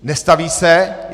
Nestaví se.